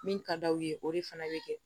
Min ka d'aw ye o de fana bɛ kɛ